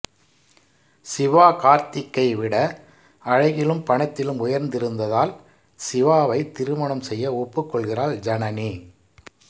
சிவா கார்த்திக்கை விட அழகிலும் பணத்திலும் உயர்ந்திருந்ததால் சிவாவை திருமணம் செய்ய ஒப்புக்கொள்கிறாள் ஜனனி